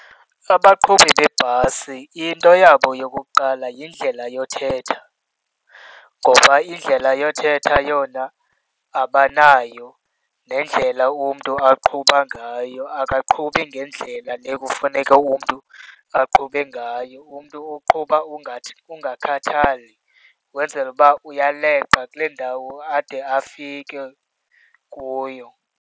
Abaqhubi beebhasi into yabo yokuqala yindlela yothetha ngoba indlela yothetha yona abanayo. Nendlela umntu aqhuba ngayo akaqhubi ngendlela le kufuneka umntu aqhube ngayo. Umntu uqhuba ungathi ukungakhathali, wenzela uba uyaleqa kule ndawo ade afike kuyo.